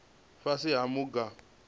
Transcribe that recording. fhasi ha maga a u